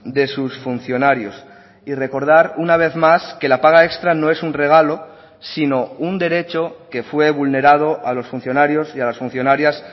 de sus funcionarios y recordar una vez más que la paga extra no es un regalo sino un derecho que fue vulnerado a los funcionarios y a las funcionarias